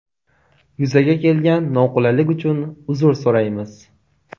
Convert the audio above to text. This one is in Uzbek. Yuzaga kelgan noqulaylik uchun uzr so‘raymiz.